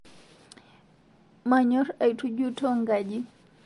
Manyor aitujuto nkaji